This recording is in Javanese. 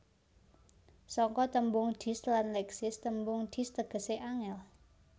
Saka tembung Dis lan Leksis tembung Dis tegesé angel